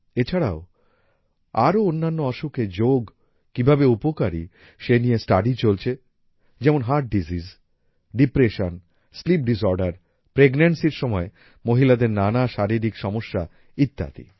এছাড়াও আরও অন্যান্য অসুখে যোগ কিভাবে উপকারী সেই নিয়ে স্টাডি চলছে যেমন হার্ট ডিসিজেস ডিপ্রেশন স্লিপ ডিসঅর্ডের প্রেগনেন্সি র সময়ে মহিলাদের নানা শারীরিক সমস্যা ইত্যাদি